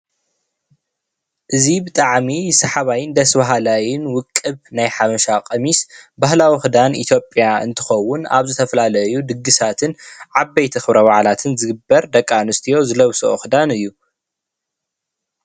እዚ ብጣዕሚ ስሓባይን ደስ ባሃላይን ውቅብ ናይ ሓበሻ ቀሚስ ባህላዊ ክዳን ኢትዮጵያ እንትከውን አብ ዝተፈላለዩ ድግሳትን ዓበይቲ ክብረ በዓላትን ዝግበር ደቂ አነስትዮ ዝለብሶኦ ክዳን እዩ፡፡